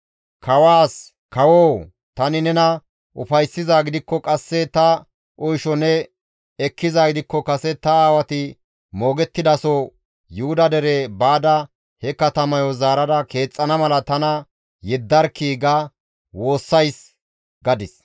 Kawaas, «Kawoo! Tani nena ufayssizaa gidikko qasse ta oysho ne ekkizaa gidikko kase ta aawati moogettidaso Yuhuda dere baada he katamayo zaarada keexxana mala tana yeddarkkii» ga woossays.